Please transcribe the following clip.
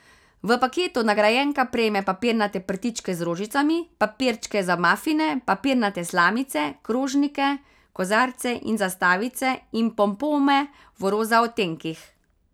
V paketu nagrajenka prejme papirnate prtičke z rožicami, papirčke za mafine, papirnate slamice, krožnike, kozarce in zastavice in pompome v roza odtenkih.